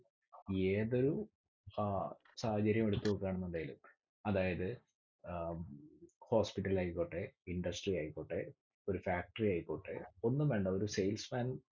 ഏതൊരു ആഹ് സാഹചര്യം എടുത്ത് നോക്കുകയാണെന്നുണ്ടെങ്കിലും അതായത് ഏർ hospital ആയിക്കോട്ടെ industry ആയിക്കോട്ടെ ഒരു factory ആയിക്കോട്ടെ. ഒന്നും വേണ്ട. ഒരു sales man.